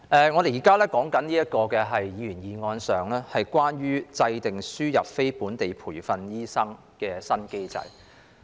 我們現時討論的議員議案，是關於"制訂輸入非本地培訓醫生的新機制"。